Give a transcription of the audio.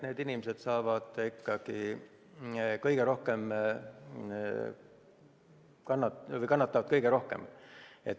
Need inimesed kannatavad kõige rohkem.